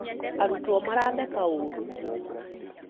arutwo maratheka ũũrũ